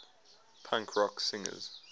punk rock singers